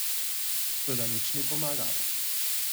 Toda nič ni pomagalo.